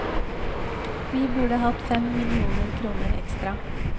Vi burde hatt fem millioner kroner ekstra.